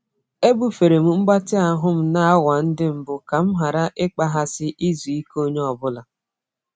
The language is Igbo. Ebufere m mgbatị ahụ m n'awa ndị mbụ ka m ghara ịkpaghasị izu ike onye ọ bụla.